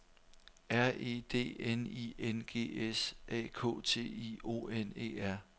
R E D N I N G S A K T I O N E R